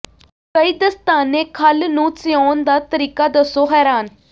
ਕਈ ਦਸਤਾਨੇ ਖੱਲ ਨੂੰ ਸਿਉਣ ਦਾ ਤਰੀਕਾ ਦੱਸੋ ਹੈਰਾਨ